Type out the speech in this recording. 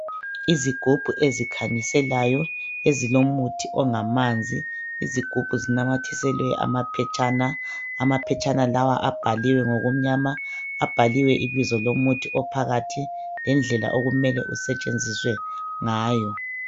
Izigubhu ezikhanyiselayo, ezilomuthi ongamanzi. Izigubhu zinamathiselwe amaphetshana. Amaphetshana lawa abhaliwe ngokumnyama. Abhaliwe ibizo lomuthi ophakathi lendlela okumele usetshenziswe ngayo.